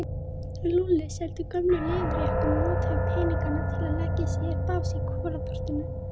Lúlli seldi gömlu leður- jakkana og notaði peningana til að leigja sér bás í Kolaportinu.